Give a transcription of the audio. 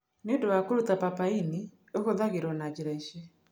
Nĩ ũndũ wa kũruta papain, ĩhũthagĩrũo na njĩra ici: